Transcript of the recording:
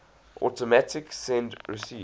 automatic send receive